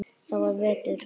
Það er vetur.